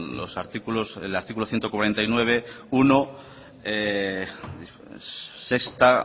el artículo ciento cuarenta y nueve punto uno